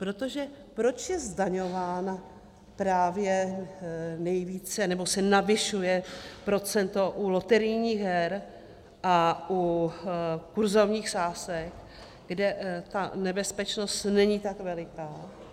Protože proč je zdaňována právě nejvíce, nebo se navyšuje procento u loterijních her a u kurzových sázek, kde ta nebezpečnost není tak veliká?